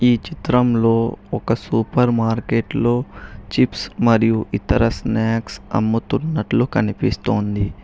ఈ చిత్రంలో ఒక సూపర్ మార్కెట్లో చిప్స్ మరియు ఇతర స్నాక్స్ అమ్ముతున్నట్లు కనిపిస్తోంది.